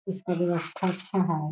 इसका व्यवस्था अच्छा है।